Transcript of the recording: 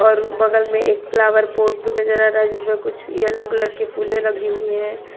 और बगल में एक फ्लावर पॉट भी नजर आ रहा है जिसमें कुछ येलो कलर की फुले लगी हुई हैं।